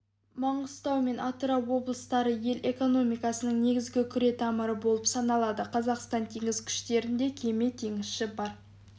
маңғыстау мен атырау облыстары ел экономикасының негізгі күретамыры болып саналады қазақстан теңіз күштерінде кеме теңізші бар